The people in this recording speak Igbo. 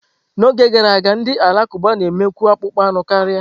N'oge gara aga, ndị Alakụba na-emekwu akpụkpọ anụ karia.